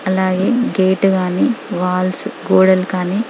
అలాగే గేట్ గాని వాల్స్ గోడలు కానీ--